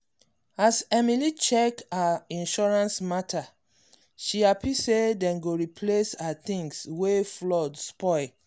as emily check her insurance matter she happy say dem go replace her things wey flood spoil.